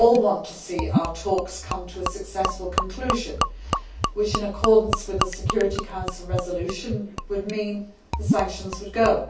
We all want to see our talks come to a successful conclusion which in accordance with the Security Council resolutions would mean the sanctions would go.